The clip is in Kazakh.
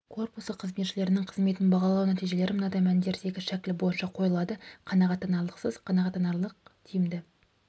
корпусы қызметшілерінің қызметін бағалау нәтижелері мынадай мәндердегі шәкіл бойынша қойылады қанағаттанарлықсыз қанағаттанарлық тиімді